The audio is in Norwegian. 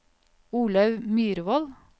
Olaug Myrvold